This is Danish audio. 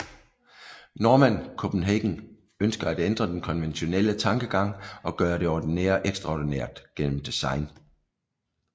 Normann Copenhagen ønsker at ændre den konventionelle tankegang og gøre det ordinære ekstraordinært gennem design